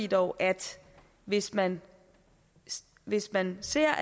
dog at hvis man hvis man ser